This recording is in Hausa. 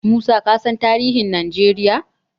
Musa kasan tarihin Najeriya?